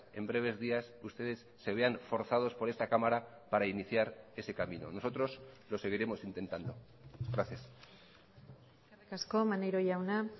en breves días ustedes se vean forzados por esta cámara para iniciar ese camino nosotros lo seguiremos intentando gracias eskerrik asko maneiro jauna